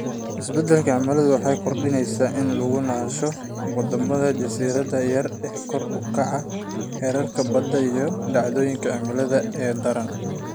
Isbeddelka cimiladu waxay kordhisaa u nuglaanshaha wadamada jasiiradaha yar ee kor u kaca heerka badda iyo dhacdooyinka cimilada ee daran.